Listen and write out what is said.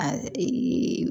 A